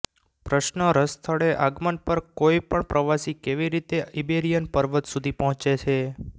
પ્રશ્ન રસ સ્થળે આગમન પર કોઈપણ પ્રવાસી કેવી રીતે ઇબેરિયન પર્વત સુધી પહોંચે છે